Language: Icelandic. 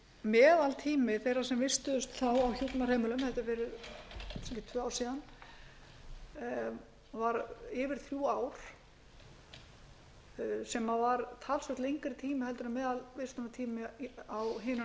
meðaltími þeirra sem vistuðust þá á hjúkrunarheimilum ég held að það hafi verið tvö ár síðan væru yfir þrjú ár sem var talsvert lengri tími heldur en meðalvistunartími á hinum